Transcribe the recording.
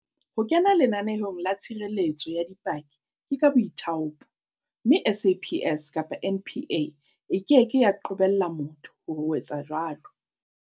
Ho kena lenaneong la tshireletso ya dipaki ke ka boithaopo, mme SAPS kapa NPA e keke ya qobella motho ho etsa jwalo.